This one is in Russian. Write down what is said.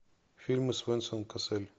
фильмы с венсан кассель